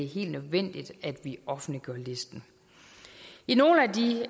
helt nødvendigt at vi offentliggør listen i nogle